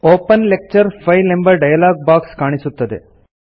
open lecture file ಎಂಬ dialog box ಕಾಣಿಸುತ್ತದೆ